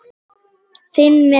Finn með honum.